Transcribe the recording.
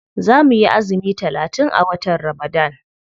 Za muyi azumi talatin a watan ramadan.